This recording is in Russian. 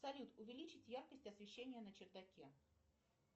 салют увеличить яркость освещения на чердаке